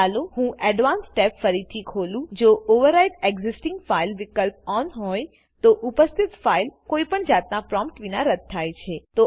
ચાલો હું advanced tab ફરીથી ખોલુંજો ઓવરવ્રાઇટ એક્સિસ્ટિંગ Filesવિકલ્પ ઓન હોય તો ઉપસ્થિત ફાઈલ કોઇપણ જાતના પ્રોમ્પ્ટ વિના રદ્દ થાય છે